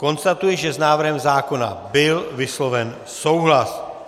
Konstatuji, že s návrhem zákona byl vysloven souhlas.